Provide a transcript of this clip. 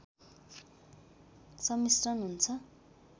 सम्मिश्रण हुन्छ